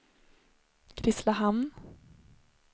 Grisslehamn